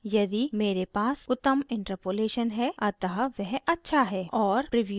और preview में मैं image के बजाय grid चुनती choose